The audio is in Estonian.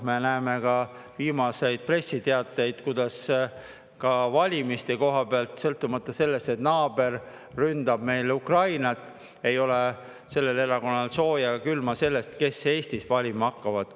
Me näeme ka viimastest pressiteadetest, kuidas valimiste koha pealt, sõltumata sellest, et naaber ründab meil Ukrainat, ei ole sellel erakonnal sooja ega külma sellest, kes Eestis valima hakkavad.